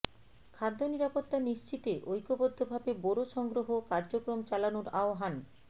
খাদ্য নিরাপত্তা নিশ্চিতে ঐক্যবদ্ধভাবে বোরো সংগ্রহ কার্যক্রম চালানোর আহ্বান